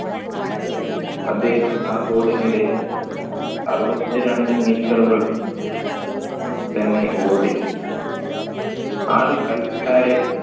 അദ്ദേഹം ആ goal ന് ഇടയിൽ അരുവതിരണ്ടു meter കൾ തന്നെ ഓടി ആർ കളിക്കാരെ